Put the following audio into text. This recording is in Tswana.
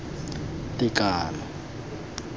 tekano